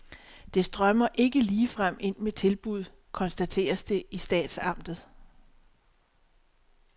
Det strømmer ikke ligefrem ind med tilbud, konstateres det i statsamtet.